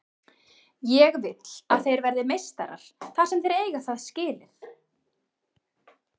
Ég vill að þeir verði meistarar þar sem þeir eiga það skilið.